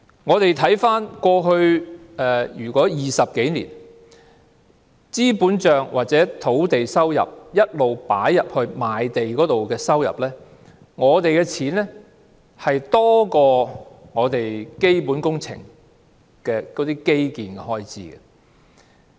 回顧過去20多年的資本帳或土地收入，從賣地所得收入撥入該帳目的數目，一直多於基本工程的基建開支。